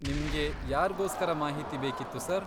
ನಿಮ್ಗೆ ಯಾರ್ಗೋಸ್ಕರ ಮಾಹಿತಿ ಬೇಕಿತ್ತು ಸರ್?